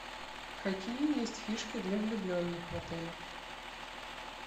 какие есть фишки для влюбленных в отеле